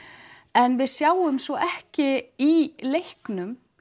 en við sjáum svo ekki í leiknum